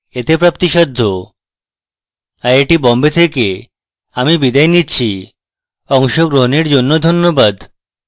IIT Bombay থেকে আমি বিদায় নিচ্ছি অংশগ্রহণের জন্য ধন্যবাদ